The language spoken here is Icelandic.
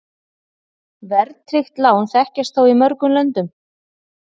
Verðtryggð lán þekkjast þó í mörgum löndum.